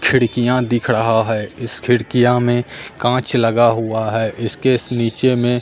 खिड़कियां दिख रहा है इस खिड़कियां में कांच लगा हुआ है इसके नीचे में--